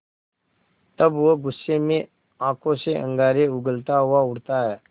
तब वह गुस्से में आँखों से अंगारे उगलता हुआ उठता है